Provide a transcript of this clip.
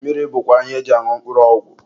mmiri bụkwa ihe eji añụ mkpụrụ ọgwụ.